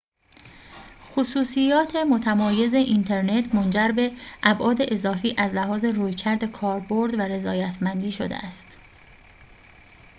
خصوصیات متمایز اینترنت منجر به ابعاد اضافی از لحاظ رویکرد کاربرد و رضایت‌مندی شده است